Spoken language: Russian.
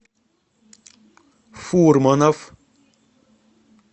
фурманов